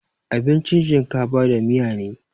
Abincin shinkafa da miya ne